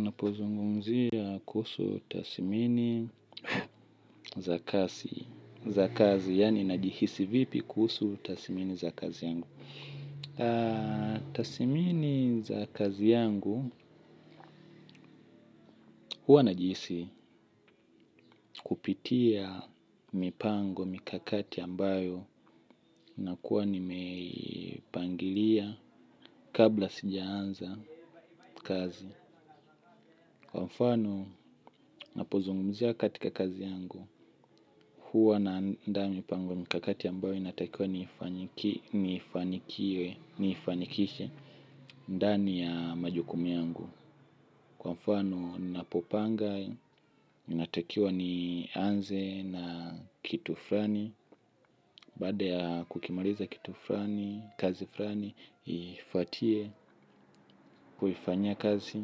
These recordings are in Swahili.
Napozungumzia kuhusu tasimini za kazi. Za kazi, yaani najihisi vipi kuhusu tasimini za kazi yangu. Tasimini za kazi yangu, huwa najihisi kupitia mipango, mikakati ambayo, na kuwa nimepangilia kabla sijaanza kazi. Kwa mfano, napozungumzia katika kazi yangu, huwa naanda mipango mkakati ambayo inatakiwa nifanikiwe, niifanikishe ndani ya majukumu yangu. Kwa mfano napopanga, inatakiwa nianze na kitu fulani. Baada ya kukimaliza kitu fulani, kazi fulani, iifuatie, huifanyia kazi,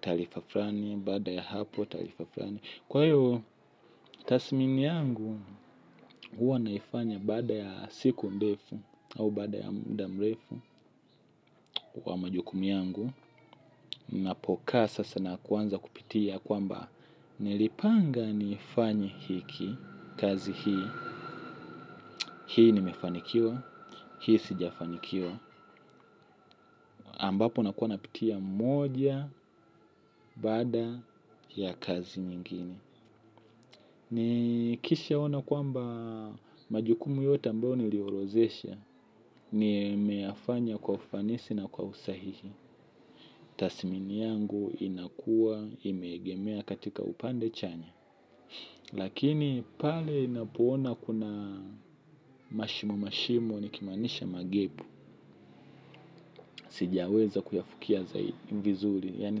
taarifa fulani, baada ya hapo taarifa fulani. Kwa hiyo tasmini yangu, huwa naifanya baada ya siku ndefu au baada ya muda mrefu kwa majukumu yangu. Napokaa sasa na kuanza kupitia kwamba nilipanga nifanye hiki kazi hii. Hii nimefanikiwa, hii sijafanikiwa. Ambapo nakuwa napitia moja baada ya kazi nyingine. Nikishaona kwamba majukumu yote ambayo niliorodhesha. Nimeyafanya kwa ufanisi na kwa usahihi. Tasimini yangu inakua imegemea katika upande chanya. Lakini pale inapoona kuna mashimo mashimo ni kimaanisha magap. Sijaweza kuyafikia zai vizuri. Yaani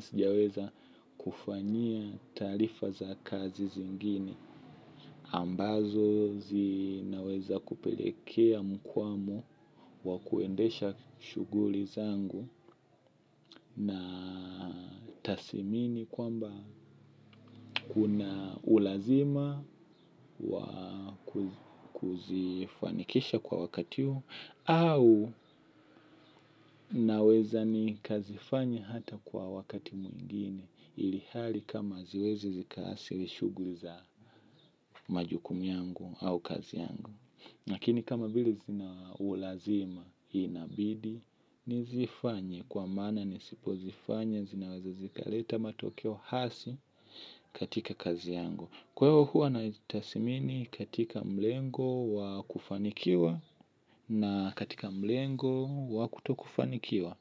sijaweza kufanyia taarifa za kazi zingine ambazo zinaweza kupelekea mkwamu wa kuendesha shughuli zangu na tasimini kwamba kuna ulazima wa kuzifanikisha kwa wakati huu au naweza nikazifanya hata kwa wakati mwingine ili hali kama ziweze zikaasili shughuli za majukumu yangu au kazi yangu lakini kama vile zina ulazima inabidi nizifanye kwa maana nisipozifanya zinaweza zikaleta matokeo hasi katika kazi yangu. Kwa hiyo huwa naitasmini katika mlengo wa kufanikiwa na katika mlengo wa kutokufanikiwa.